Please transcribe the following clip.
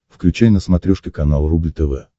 включай на смотрешке канал рубль тв